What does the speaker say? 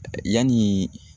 Yani